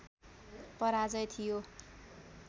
पराजय थियो